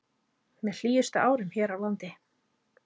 Með hlýjustu árum hér á landi